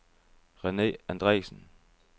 Rene Andresen